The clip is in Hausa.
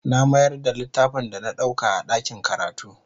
Na mayar da littafin da na ɗauka a ɗakin karatu.